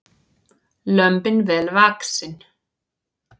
Lömbin vel vaxin